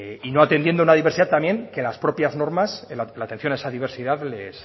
y no atendiendo a una diversidad que las propias normas la atención a esa diversidad